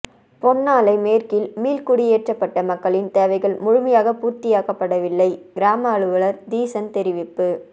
பொன்னாலை மேற்கில் மீள்குடியேற்றப்பட்ட மக்களின் தேவைகள் முழுமையாக பூர்த்தியாக்கப்படவில்லை கிராம அலுவலர் தீசன் தெரிவிப்பு